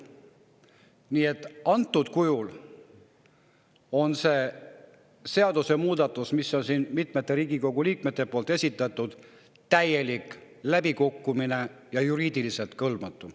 Nii et antud kujul on see seadusemuudatus, mis on mitmete Riigikogu liikmete esitatud, täielik läbikukkumine ja juriidiliselt kõlbmatu.